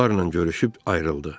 Onlarla görüşüb ayrıldı.